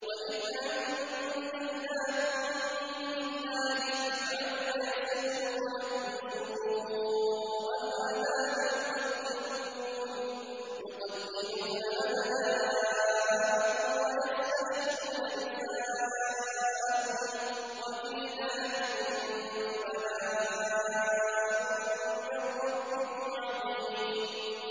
وَإِذْ أَنجَيْنَاكُم مِّنْ آلِ فِرْعَوْنَ يَسُومُونَكُمْ سُوءَ الْعَذَابِ ۖ يُقَتِّلُونَ أَبْنَاءَكُمْ وَيَسْتَحْيُونَ نِسَاءَكُمْ ۚ وَفِي ذَٰلِكُم بَلَاءٌ مِّن رَّبِّكُمْ عَظِيمٌ